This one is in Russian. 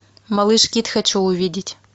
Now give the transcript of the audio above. малыш кид хочу увидеть